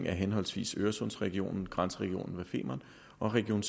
af henholdsvis øresundsregionen grænseregionen ved femern og region